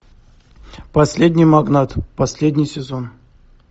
последний магнат последний сезон